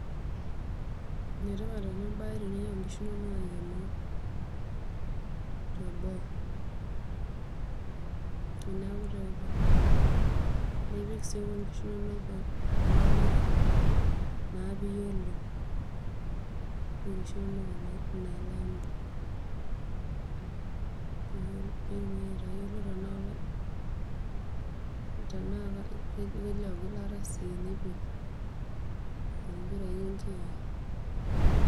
Enetipat ena baye teninyiangu inkishu inono aikenoo teboo. Teneeku taa eetuo, nipik sii inkishu inono enda pira naa pee iyiolou, nipik inkishu inono ina alama iindim ninye atayiolo enaa inialo gilata sii too mpirai oo nkiyia.